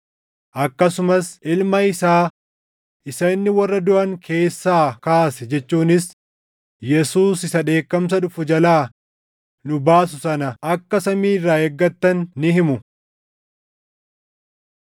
akkasumas Ilma isaa isa inni warra duʼan keessaa kaase jechuunis Yesuus isa dheekkamsa dhufu jalaa nu baasu sana akka samii irraa eeggattan ni himu.